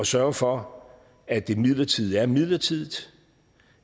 sørge for at det midlertidige er midlertidigt